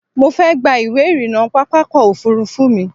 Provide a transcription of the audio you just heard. Mo fẹ́ gba ìwé-ìrìnnà pápákọ̀-òfurufú mi.